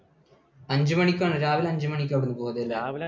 അഞ്ചുമണിക്കാണോ? രാവിലെ അഞ്ചുമണിക്ക് അവിടെനിന്നു പോന്നു അല്ലേ?